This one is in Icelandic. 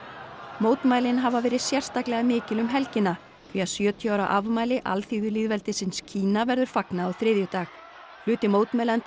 mótmælin hafa verið sérstaklega mikil um helgina því að sjötíu ára afmæli alþýðulýðveldisins Kína verður fagnað á þriðjudag hluti mótmælenda